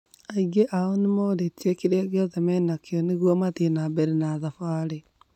Aingi ao nĩmorĩtie kĩria kĩothe menakĩo nĩgũo mathii nambere na thabarĩ